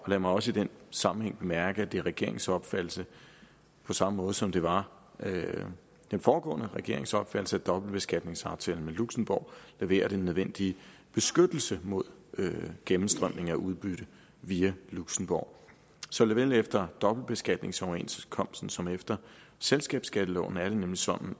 lad mig også i den sammenhæng bemærke at det er regeringens opfattelse på samme måde som det var den foregående regerings opfattelse at dobbeltbeskatningsaftalen med luxembourg leverer den nødvendige beskyttelse mod gennemstrømning af udbytte via luxembourg såvel efter dobbeltbeskatningsoverenskomsten som efter selskabsskatteloven er det nemlig sådan